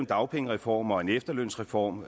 dagpengereform og en efterlønsreform